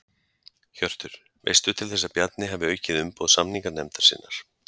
Hjörtur: Veistu til þess að Bjarni hafi aukið umboð samninganefndar sinnar?